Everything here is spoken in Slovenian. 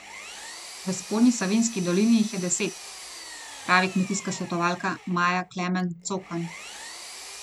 V Spodnji Savinjski dolini jih je deset, pravi kmetijska svetovalka Maja Klemen Cokan.